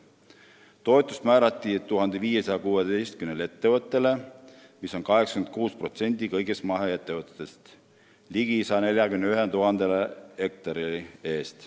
Toetus määrati 1516 ettevõttele, mis on 86% kõigist maheettevõtetest, ligi 141 000 hektari eest.